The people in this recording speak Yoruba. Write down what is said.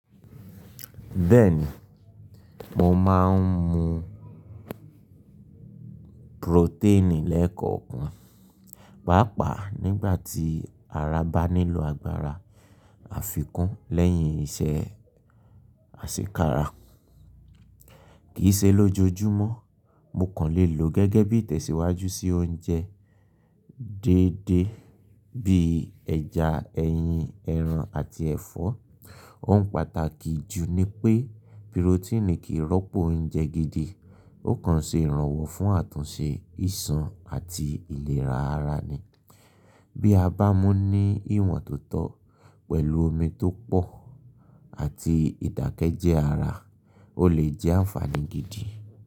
Bẹ́ẹ̀ni, mo máa ń mu pirotíìnì lẹ́ẹ̀kọ̀kan, pàápàá nígbà tí ara bá nílò agbára àfikún lẹ́yìn iṣẹ́ àṣíkara. Kì í ṣe lójoojúmọ́, mo kàn lè lò ó gẹ́gẹ́ bí ìtẹ̀síwájú sí oúnjẹ déédéé bíi ẹja, ẹyin, ẹran àti ẹ̀fọ́. Ohun pàtàkì jù ni pé pirotíìnì kì í rọ́pò oúnjẹ gidi, ó kàn ṣe ìrànwọ́ fún àtúnṣe ìṣun àti ìlera ara ni. Bí a bá mú ní ìwọ̀ntotọ́ pẹ̀lú omi tó pọ̀ àti ìdákẹ́jẹ́ ara, ó lè jẹ́ ànfàní gidi.